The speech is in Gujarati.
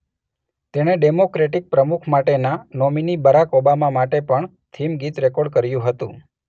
તેણે ડેમોક્રેટિક પ્રમુખ માટેના નોમીની બરાક ઓબામા માટે પણ થીમ ગીત રેકોર્ડ કર્યું હતું.